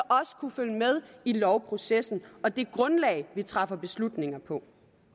kunne følge med i lovprocessen og det grundlag vi træffer beslutninger på